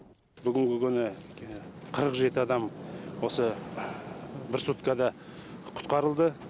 бүгінгі күні қырық жеті адам осы бір суткада құтқарылды